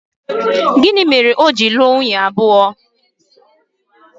Gịnị mere o ji lụọ nwunye abụọ?